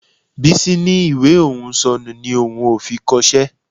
Bísí ní ìwé òun ò sọnù ni òun ò fi kọṣẹ́